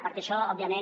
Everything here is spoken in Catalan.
perquè això òbviament